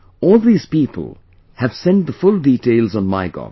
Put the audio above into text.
All these people have sent the full details on MyGov